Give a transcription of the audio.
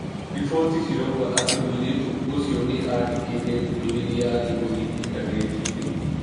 Riboti cirauga atĩ mũirĩtu ũcio nĩ aandĩkĩte ndũmĩrĩri ya gĩthũri intaneti-inĩ.